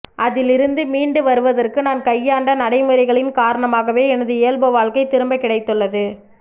அதிலிருந்து மீண்டு வருவதற்கு நான் கையாண்ட நடைமுறைகளின் காரணமாகவே எனது இயல்பு வாழ்க்கை திரும்ப கிடைத்துள்ளது